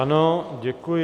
Ano, děkuji.